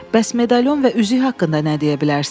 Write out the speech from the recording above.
Bəs medalon və üzük haqqında nə deyə bilərsiz?